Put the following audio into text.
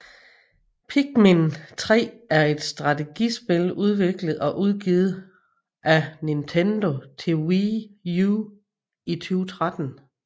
Pikmin 3 er et strategispil udviklet og udgivet af Nintendo til Wii U i 2013